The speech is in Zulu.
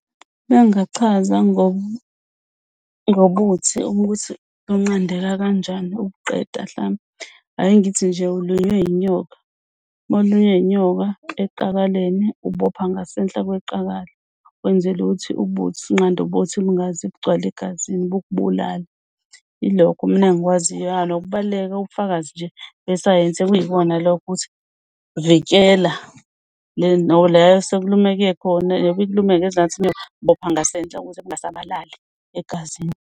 Mengachaza ngobuthi ukuthi bunqandeka kanjani ukuqeda mhlambe. Ake ngithi nje ulunywe inyoka uma ulunywe inyoka eqakaleni ubopha ngasenhla kweqakala wenzela ukuthi unqande ubuthi bungaze bugcwale egazini bukubulale. Ilokho mina engikwaziyo nokubaluleka bobufakazi nje besayensi ukuyibona lokuthi vikela la esekulumeke khona bopha ngasenhla ukuze kungasabalali egazini.